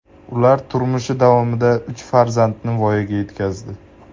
Ular turmushi davomida uch farzandni voyaga yetkazdi.